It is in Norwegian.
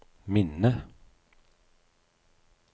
minne